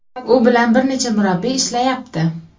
U bilan bir necha murabbiy ishlayapti.